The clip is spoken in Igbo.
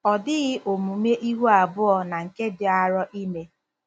Ọ dịghị omume ihu abụọ na nke dị arọ ime